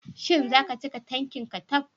Shin zaka cika tanki manka taf?